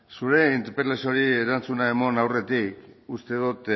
zure interpelazioari erantzuna eman aurretik uste dut